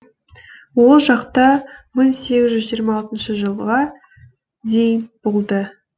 ол жақта мың сегіз жүз жиырма алтыншы жылға дейін болды